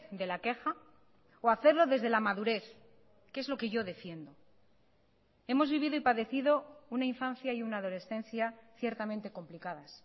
de la queja o hacerlo desde la madurez que es lo que yo defiendo hemos vivido y padecido una infancia y una adolescencia ciertamente complicadas